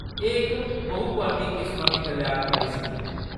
एह्‌‌ इक बहुपरती किसमा दी कल्याणकारी स्कीम ऐ।